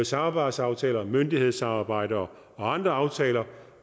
samarbejdsaftaler myndighedssamarbejde og andre aftaler